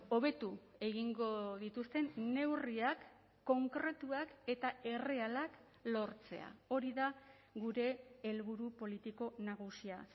hobetu egingo dituzten neurriak konkretuak eta errealak lortzea hori da gure helburu politiko nagusia